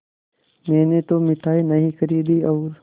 मैंने तो मिठाई नहीं खरीदी और